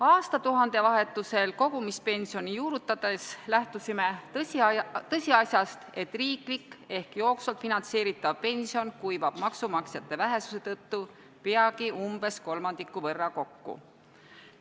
Aastatuhande vahetusel kogumispensioni juurutades lähtusime tõsiasjast, et riiklik ehk jooksvalt finantseeritav pension kuivab maksumaksjate vähesuse tõttu peagi umbes kolmandiku võrra kokku.